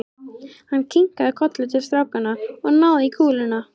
Hann kinkaði kolli til strákanna og náði í kúluna.